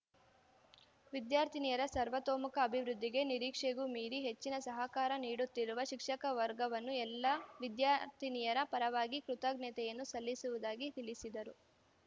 ವಿದ್ಯಾರ್ಥಿನಿಯರ ಸರ್ವತೋಮುಖ ಅಭಿವೃದ್ಧಿಗೆ ನಿರೀಕ್ಷೆಗೂ ಮೀರಿ ಹೆಚ್ಚಿನ ಸಹಕಾರ ನೀಡುತ್ತಿರುವ ಶಿಕ್ಷಕ ವರ್ಗವನ್ನು ಎಲ್ಲ ವಿದ್ಯಾರ್ಥಿನಿಯರ ಪರವಾಗಿ ಕೃತಜ್ಞತೆಯನ್ನು ಸಲ್ಲಿಸುವುದಾಗಿ ತಿಳಿಸಿದರು